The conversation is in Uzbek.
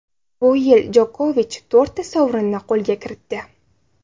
Bu yil Jokovich to‘rtta sovrinni qo‘lga kiritdi.